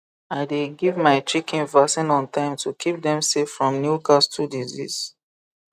i dey give my chicken vaccine on time to keep dem safe from newcastle disease